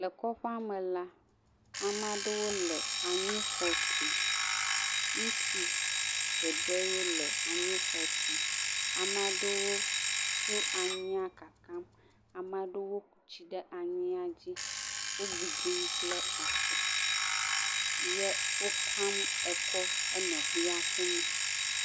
Lekɔƒea me la, amea ɖewo le anyi xɔ tum, ŋutsu ɖeɖee le anyi xɔ tum. Amea ɖewo tsɔ anyia kakam, amea ɖewo ku tsi ɖe anyia dzi, wogbidim kple afɔ ye wokam ekɔ enɔvia ƒumee.